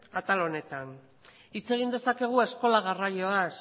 atal honetan hitz egin dezakegu eskola garraioaz